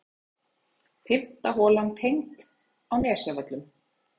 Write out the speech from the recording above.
Fimmta holan tengd á Nesjavöllum.